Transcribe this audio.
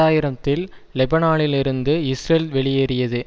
ஆயிரம்த்தில் லெபனானிலிருந்து இஸ்ரேல் வெளியேறியது